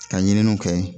Ka ɲininiw kɛ